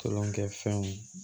Kolonkɛfɛnw